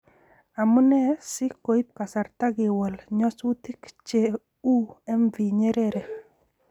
Amu nee si koib kasarta kewol nyasutik che u MV Nyerere